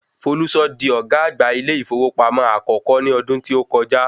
Folúṣọ́ di ọ̀gá àgbà ilé ìfowópamọ́ akọ́kọ́ ní ọdún tí o kọjá.